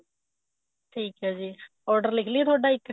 ਠੀਕ ਐ ਜੀ order ਲਿੱਖ ਲੀਏ ਤੁਹਾਡਾ ਇੱਕ